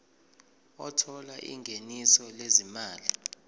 othola ingeniso lezimali